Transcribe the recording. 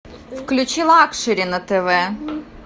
включи лакшери на тв